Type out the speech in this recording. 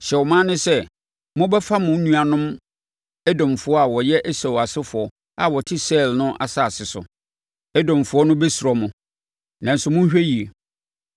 Hyɛ ɔman no sɛ, ‘Mobɛfa mo nuanom Edomfoɔ a wɔyɛ Esau asefoɔ a wɔte Seir no asase so. Edomfoɔ no bɛsuro mo, nanso monhwɛ yie.